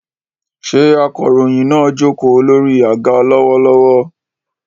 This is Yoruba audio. Ṣé akọ̀ròyìn náà jókòó lórí àga lọ́wọ́lọ́wọ́?